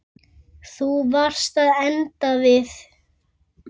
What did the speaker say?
Þú varst að enda við.